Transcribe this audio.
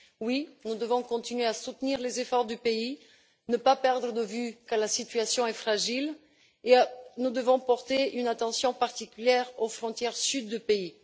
Oui, nous devons continuer à soutenir les efforts du pays, ne pas perdre de vue que la situation est fragile et nous devons porter une attention particulière aux frontières sud du pays.